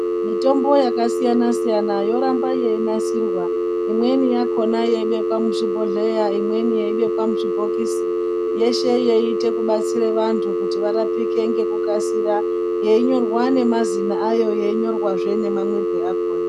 Mitombo yakasiyana siyana yoramba yeinasirwa imweni yakona yeibekwa muzvibhedhleya imweni yeibekwa muzvibhokisi yeshe yeite kubatsire vantu kuti varapike ngekukasira yeinyorwa nemazina ayo yeinyorwazve nemamwirwe akona .